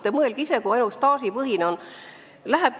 Te mõelge ise, kui oleks ainult staažipõhine arvestus!